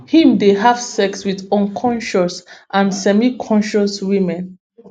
im dey have sex wit unconscious and semiconscious women